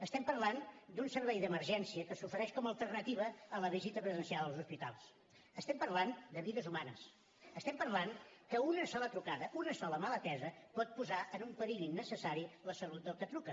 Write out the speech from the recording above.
estem parlant d’un servei d’emergència que s’ofereix com a alternativa a la visita presencial als hospitals estem parlant de vides humanes estem parlant que una sola trucada una sola mal atesa pot posar en un perill innecessari la salut del que truca